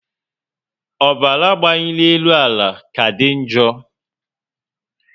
Ọbara mgbanyielu ala ka dị njo